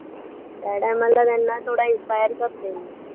त्या time ला त्यांना थोडा inspire करते मी